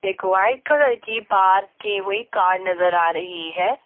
एक white colour की park की हुई कार नजर आ रही है।